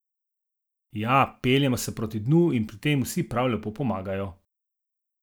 Ja, peljemo se proti dnu in pri tem vsi prav lepo pomagajo.